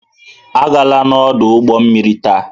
Agala n'ọdụ ụgbọ mmiri taa!